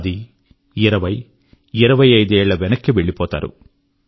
పది ఇరవై ఇరవై ఐదు ఏళ్ళ వెనక్కి వెళ్ళిపోతారు